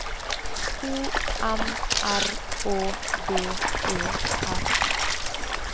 O M R Å D E R